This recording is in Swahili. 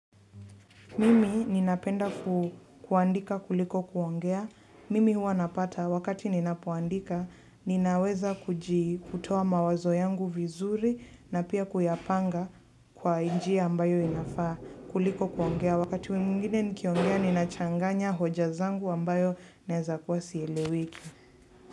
Mimi ninapenda kuandika kuliko kuongea. Mimi huwa napata wakati ninapoandika, ninaweza kujii, kutoa mawazo yangu vizuri na pia kuyapanga kwa njjia ambayo inafaa kuliko kuongea. Wakati wengine nikiongea ninachanganya hoja zangu ambayo naweeza kuwa hazieleweki.